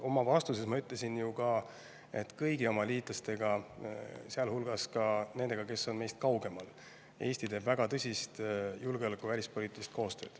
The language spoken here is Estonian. Oma vastuses ma ütlesin ju ka, et Eesti teeb kõigi oma liitlastega, sealhulgas nendega, kes on meist kaugemal, väga tõsist julgeoleku- ja välispoliitilist koostööd.